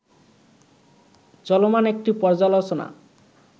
চলমান একটি পর্যালোচনা